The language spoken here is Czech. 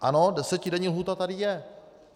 Ano, desetidenní lhůta tady je.